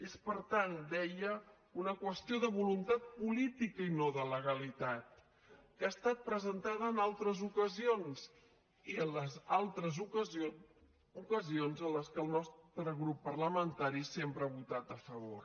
és per tant deia una qüestió de voluntat política i no de legalitat que ha estat presentada en altres ocasions i en les altres ocasions ocasions en què el nostre grup parlamentari sempre ha votat a favor